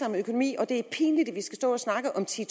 om økonomi og at det er pinligt at vi skal stå og snakke om ti